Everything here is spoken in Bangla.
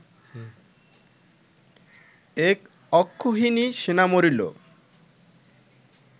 এক অক্ষৌহিণী সেনা মরিল!